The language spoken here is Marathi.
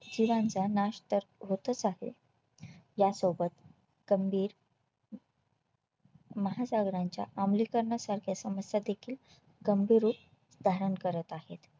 जीवांचा नाश तर होतच आहे यासोबत गंभीर महासागरांच्या अमलीकरणा सारख्या समस्या देखील गंभीर रूप धारण करत आहेत